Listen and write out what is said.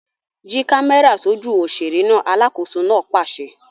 Yí kámẹ́rà sójú òṣèré náà! Alákòóso náà pàṣẹ.